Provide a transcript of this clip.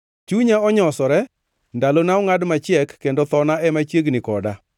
Chunya onyosore, ndalona ongʼad machiek, kendo thona ema chiegni koda.